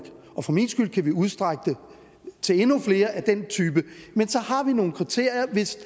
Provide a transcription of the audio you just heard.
og for min skyld kan vi udstrække det til endnu flere af den type men så har vi nogle kriterier hvis